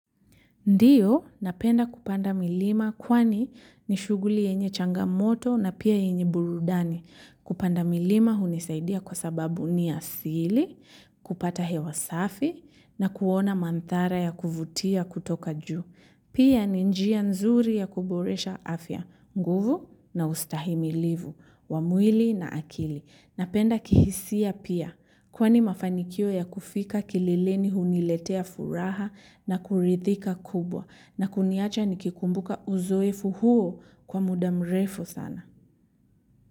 Ndio, napenda kupanda milima kwani ni shughuli yenye changamoto na pia yenye burudani. Kupanda milima hunisaidia kwa sababu ni asili, kupata hewa safi na kuona mandhari ya kuvutia kutoka juu. Pia ni njia nzuri ya kuboresha afya, nguvu na ustahimilivu, wa mwili na akili. Napenda kihisia pia kwani mafanikio ya kufika kilileni huniletea furaha na kuridhika kubwa na kuniacha nikikumbuka uzoefu huo kwa muda mrefu sana.